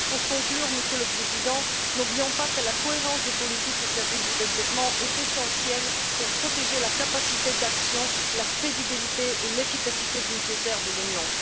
Pour conclure, Monsieur le Président, n'oublions pas que la cohérence des politiques au service du développement est essentielle pour protéger la capacité d'action, la crédibilité et l'efficacité budgétaire de l'Union.